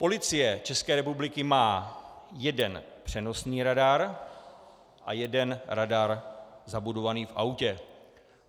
Policie České republiky má jeden přenosný radar a jeden radar zabudovaný v autě.